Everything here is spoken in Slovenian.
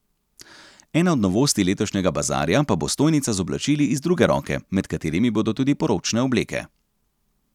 Ena od novosti letošnjega bazarja pa bo stojnica z oblačili iz druge roke, med katerimi bodo tudi poročne obleke.